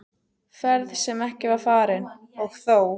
Ferð sem ekki var farin- og þó!